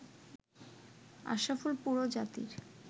“আশরাফুল পুরো জাতির